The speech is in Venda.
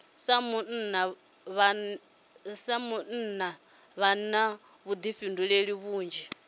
sa munna vha na vhuḓifhinduleli vhunzhi